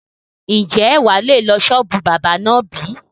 Ń jẹ́ wá lè lọ sọ́ọ́bù báábà náà bí?